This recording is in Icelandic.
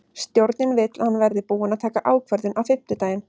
Stjórnin vill að hann verði búinn að taka ákvörðun á fimmtudaginn.